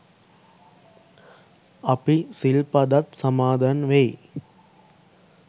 අපි සිල් පදත් සමාදන් වෙයි.